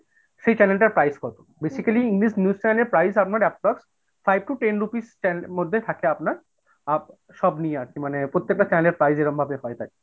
সেই channel টার price কত? basically English news channel আপনার approx five to ten rupees stand মধ্যে থাকে আপনার up সব নিয়ে আরকি প্রত্যেকটা channel এর price এরকমভাবে হয়।